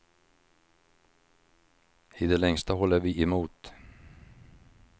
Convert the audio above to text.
I det längsta håller vi emot.